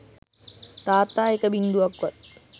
තාත්තා එක බිංදුවක්වත්